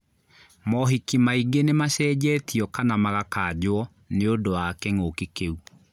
Mohiki maingĩ nĩmacenjetio kana magakanjwo nĩũndũ wa kĩng'ũki kĩu